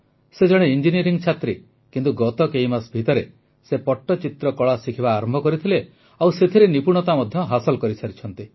ସେ ଜଣେ ଇଞ୍ଜିନିୟରିଂ ଛାତ୍ରୀ କିନ୍ତୁ ଗତ କେଇ ମାସ ଭିତରେ ସେ ପଟ୍ଟଚିତ୍ରକଳା ଶିଖିବା ଆରମ୍ଭ କରିଥିଲେ ଓ ସେଥିରେ ନିପୁଣତା ମଧ୍ୟ ହାସଲ କରିସାରିଛନ୍ତି